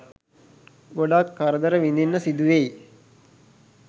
ගොඩක් කරදර විදින්න සිදුවෙයි.